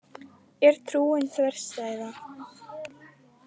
Er trúin þverstæða?